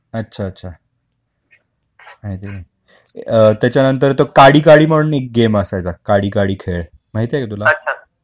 अच्छा अच्छा माहिती नाही, हम्म त्याच्यानंतर तो काडी काडी म्हणून पण गेम असायचा काडी काडी खेळ माहिती का तुला